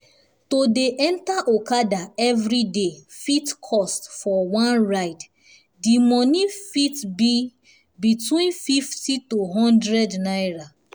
to dey enter okada everyday fit cost for one ride dimoney fit between 50 to one hundred naira